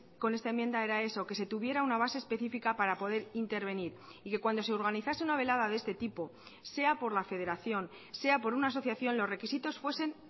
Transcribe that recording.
con esta enmienda era eso que se tuviera una base específica para poder intervenir y que cuando se organizase una velada de este tipo sea por la federación sea por una asociación los requisitos fuesen